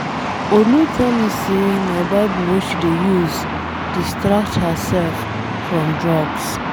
Olu tell me say na bible wey she dey use distract herself from drugs.